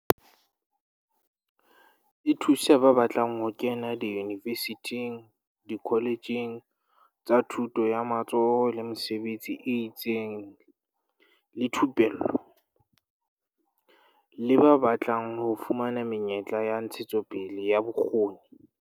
E thusa ba batlang ho kena diyunivesithing, dikoletjheng tsa Thuto ya tsa Matsoho le Mesebetsi e itseng le Thupello, TVET, le ba batlang ho fumana menyetla ya ntshetsopele ya bokgoni.